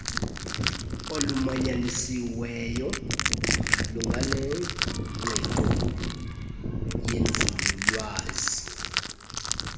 olumanyanisiweyo lunganengqiqo yenzululwazi